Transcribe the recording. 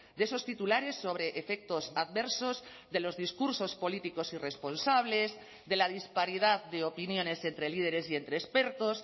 de esos titulares sobre efectos adversos de los discursos políticos irresponsables de la disparidad de opiniones entre líderes y entre expertos